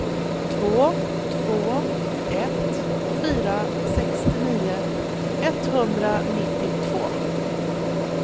två två ett fyra sextionio etthundranittiotvå